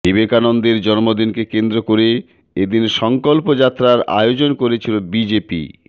বিবেকানন্দের জন্মদিনকে কেন্দ্র করে এদিন সংকল্প যাত্রার আয়োজন করেছিল বিজেপি